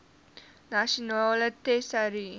nasionale tesourie